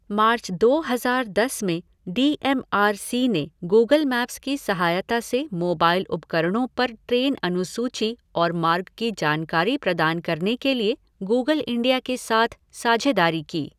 मार्च दो हज़ार दस में डी एम आर सी ने गूगल मैप्स की सहायता से मोबाइल उपकरणों पर ट्रेन अनुसूची और मार्ग की जानकारी प्रदान करने के लिए गूगल इंडिया के साथ साझेदारी की।